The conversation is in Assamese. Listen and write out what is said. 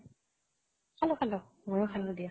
খালো খালো মইয়ো খালো দিয়া।